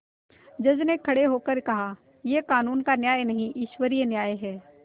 जज ने खड़े होकर कहायह कानून का न्याय नहीं ईश्वरीय न्याय है